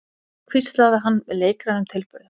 hvíslaði hann með leikrænum tilburðum.